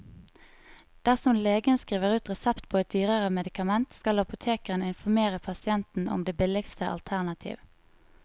Dersom legen skriver ut resept på et dyrere medikament, skal apoteket informere pasienten om det billigste alternativ.